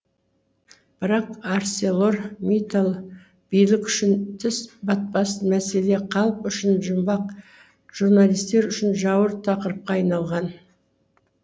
бірақ арселор миттал билік үшін тіс батпас мәселе халық үшін жұмбақ журналистер үшін жауыр тақырыпқа айналған